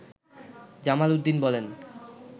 জামাল উদ্দিন বলেন